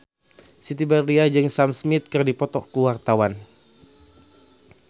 Siti Badriah jeung Sam Smith keur dipoto ku wartawan